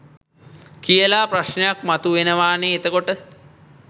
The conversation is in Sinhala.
කියලා ප්‍රශ්නයක් මතු වෙනවනේ එතකොට